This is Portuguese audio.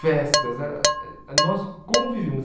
festas era, nós convivíamos.